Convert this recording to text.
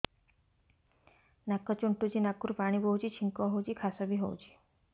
ନାକ ଚୁଣ୍ଟୁଚି ନାକରୁ ପାଣି ବହୁଛି ଛିଙ୍କ ହଉଚି ଖାସ ବି ହଉଚି